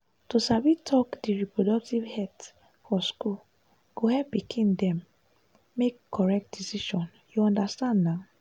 to sabi talk di reproductive health for school go help pikin dem make correct decision you understand na.